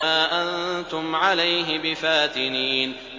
مَا أَنتُمْ عَلَيْهِ بِفَاتِنِينَ